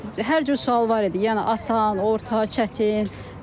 Hər cür sual var idi, yəni asan, orta, çətin.